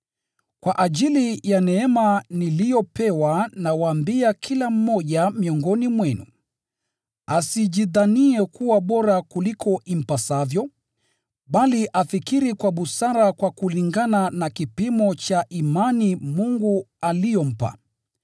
Kwa ajili ya neema niliyopewa nawaambia kila mmoja miongoni mwenu, asijidhanie kuwa bora kuliko impasavyo, bali afikiri kwa busara kwa kulingana na kipimo cha imani Mungu aliyompa.